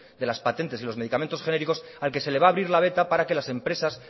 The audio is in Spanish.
de las patentes y los medicamentos genéricos al que se le va a abrir la veta para que las empresas